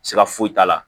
Sira foyi t'a la